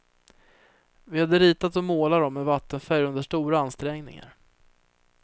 Vi hade ritat och målat dem med vattenfärg under stora ansträngningar.